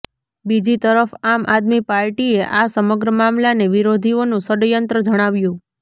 બીજી તરફ આમ આદમી પાર્ટીએ આ સમગ્ર મામલાને વિરોધીઓનું ષડયંત્ર જણાવ્યું